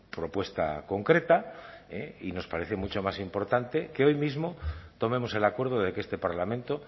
propuesta concreta y nos parece mucho más importante que hoy mismo tomemos el acuerdo de que este parlamento